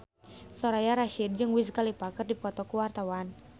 Soraya Rasyid jeung Wiz Khalifa keur dipoto ku wartawan